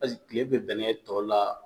Paseke kile bi bɛnɛ tɔ la